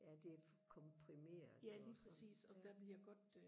ja det er komprimeret og sådan ja